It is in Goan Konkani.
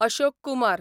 अशोक कुमार